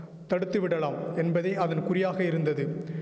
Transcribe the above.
தடுத்து விடலாம் என்பதே அதன் குறியாக இருந்தது